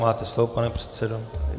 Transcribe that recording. Máte slovo, pane předsedo.